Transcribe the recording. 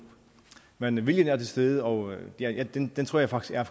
men viljen er til stede og den den tror jeg faktisk er